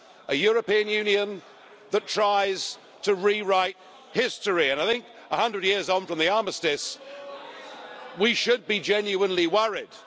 A European Union that tries to rewrite history. And I think, a hundred years on from the Armistice, we should be genuinely worried.